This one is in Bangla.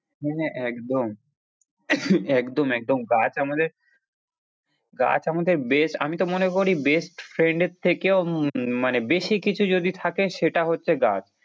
হ্যাঁ হ্যাঁ একদম, একদম একদম গাছ আমাদের গাছ আমাদের আমি তো মনে করি best friend এর থেকেও উম মানে বেশি কিছু যদি থাকে সেটা হচ্ছে গাছ।